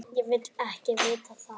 Ég vil ekki vita það.